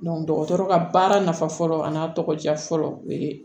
dɔgɔtɔrɔ ka baara nafa fɔlɔ an'a tɔgɔ diya fɔlɔ o ye